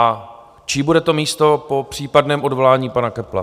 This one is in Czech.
A čí bude to místo po případném odvolání pana Köppla?